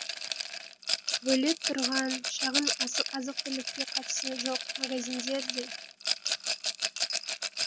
бөлек тұрған шағын азық түлікке қатысы жоқ магазиндер де